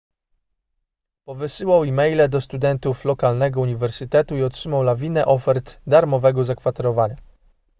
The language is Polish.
powysyłał e-maile do studentów lokalnego uniwersytetu i otrzymał lawinę ofert darmowego zakwaterowania